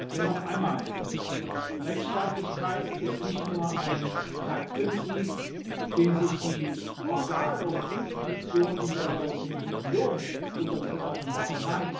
Denn noch einmal Rechtsstaatlichkeit ist nicht nur ein Leitprinzip, dem sich die Organe und Institutionen der Europäischen Union unterzuordnen haben.